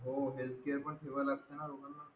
हो healthcare पण ठेवायला